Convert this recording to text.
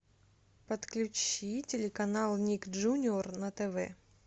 подключи телеканал ник джуниор на тв